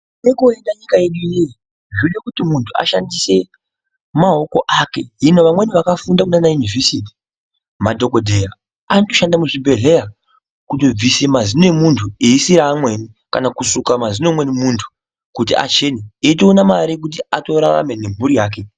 Nekoenda nyika yedu inoiyi, zvoda kuti munthu ashandise maoko ake. Hino, vamweni vakafunda kumaUnivhesiti, maDhokodheya anotoshanda muzviBhedhleya kutobvisa mazino emunthu eyi siya amweni kana kusuka mazino eumweni munthu kuti achene eyitoona mare kuti atorarame nemhuri yake.